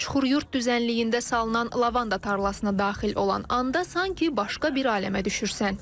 Çuxuryurd düzənliyində salınan lavanda tarlasına daxil olan anda sanki başqa bir aləmə düşürsən.